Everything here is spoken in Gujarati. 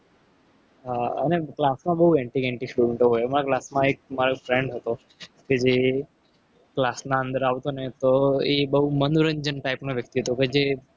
હા અને class માં બહુ antic antic student હોય અમારા class માં એક માણસ friend હતો. કે જે class ના અંદર આવતો ને તો એ બહુ મનોરંજન type નું વ્યક્તિ હતો. કે